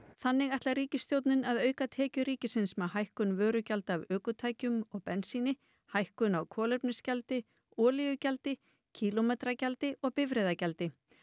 þannig ætlar ríkisstjórnin að auka tekjur ríkisins með hækkun vörugjalda af ökutækjum og bensíni hækkun á kolefnisgjaldi olíugjaldi kílómetragjaldi og bifreiðagjaldi